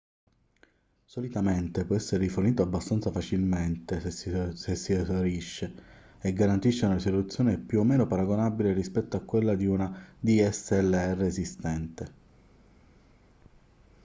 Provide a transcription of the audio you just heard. solitamente può essere rifornito abbastanza facilmente se si esaurisce e garantisce una risoluzione più o meno paragonabile rispetto a quella di una dslr esistente